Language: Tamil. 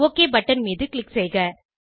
ஒக் பட்டன் மீது க்ளிக் செய்க